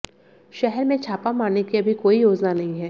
शहर में छापा मारने की अभी कोई योजना नहीं है